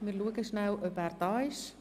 Wir schauen schnell, ob er anwesend ist.